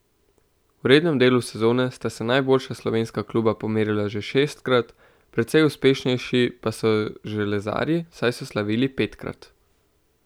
V rednem delu sezone sta se najboljša slovenska kluba pomerila že šestkrat, precej uspešnejši pa so železarji, saj so slavili petkrat.